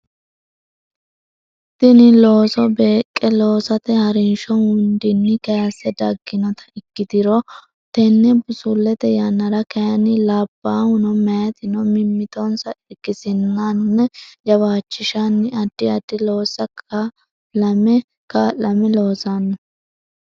Tini looso beeqqe loosate ha rinsho hundinni kayisse dagginota ikkiturono tenne busullete yannara kayinni labbaahuno meyatino mimmitonsa irkisanninna jawaachishanni addi addi loossa kaa lame loosanno.